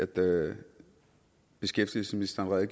både beskæftigelsesministeren og